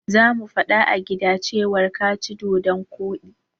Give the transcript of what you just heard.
Sai mun fada a gida cewar ka ci dodon koɗi.